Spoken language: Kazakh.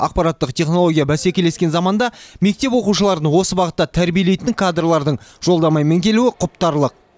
ақпараттық технология бәсекелескен заманда мектеп оқушыларын осы бағытта тәрбиелейтін кадрлардың жолдамамен келуі құптарлық